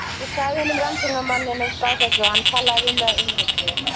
Ég sagði einum rannsóknarmannanna frá þessu og hann talaði við mig af umhyggju.